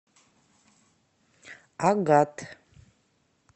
агат